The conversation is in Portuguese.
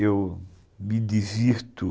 Eu me divirto.